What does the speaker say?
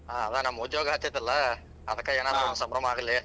ಹ್ಮ್ ಅದ ನಮ್ ಉದ್ಯೋಗ ಹತ್ತೇತಲ್ಲಾ ಅದಕ ಏನರೊಂದ್ ಸಂಭ್ರಮ ಆಗ್ಲಿ.